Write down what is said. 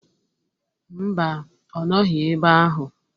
Mba, ọ nọghị ebe ahụ.